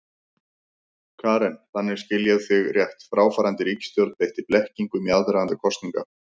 Karen: Þannig, skil ég þig rétt, fráfarandi ríkisstjórn beitti blekkingum í aðdraganda kosninga?